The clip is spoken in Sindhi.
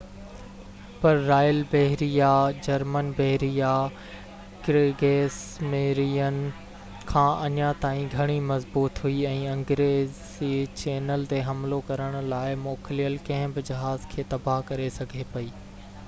پر رائل بحريه، جرمن بحريه ڪريگس ميرين” کان اڃا تائين گهڻي مضبوط هئي ۽ انگريزي چينل تي حملو ڪرڻ لاءِ موڪليل ڪنهن به جهاز کي تباهه ڪري سگهي پئي